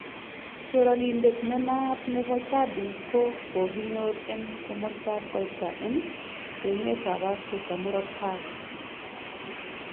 choranindet nenaat nebo jadi ko kokinyor en komastab koita ene emet ab Africa muroot tai